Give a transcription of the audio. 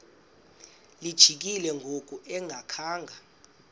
lijikile ngoku engakhanga